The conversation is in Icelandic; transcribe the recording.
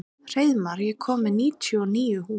Hreiðmar, ég kom með níutíu og níu húfur!